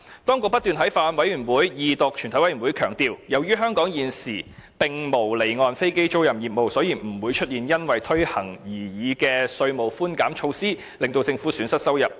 當局不斷在法案委員會、二讀及全委會審議階段強調，由於香港現時並無離岸飛機租賃業務，所以不會出現因推行擬議稅務寬減措施而令政府損失收入的情況。